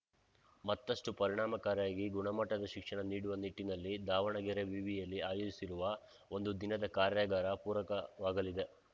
ಮತ್ತಷ್ಟುಪರಿಣಾಮಕಾರಿಯಾಗಿ ಗುಣಮಟ್ಟದ ಶಿಕ್ಷಣ ನೀಡುವ ನಿಟ್ಟಿನಲ್ಲಿ ದಾವಣಗೆರೆ ವಿವಿಯಲ್ಲಿ ಆಯೋಜಿಸಿರುವ ಒಂದು ದಿನದ ಕಾರ್ಯಾಗಾರ ಪೂರಕವಾಗಲಿದೆ